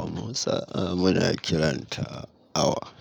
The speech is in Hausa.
Amma sa'a muna kiranta awa.